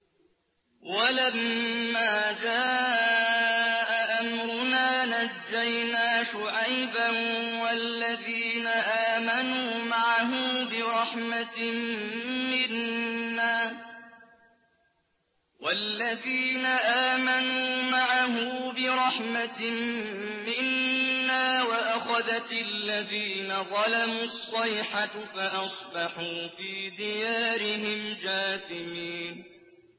وَلَمَّا جَاءَ أَمْرُنَا نَجَّيْنَا شُعَيْبًا وَالَّذِينَ آمَنُوا مَعَهُ بِرَحْمَةٍ مِّنَّا وَأَخَذَتِ الَّذِينَ ظَلَمُوا الصَّيْحَةُ فَأَصْبَحُوا فِي دِيَارِهِمْ جَاثِمِينَ